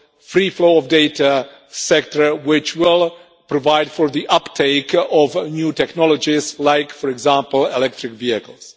free flow of data sector which will provide for the uptake of new technologies, like, for example, electric vehicles.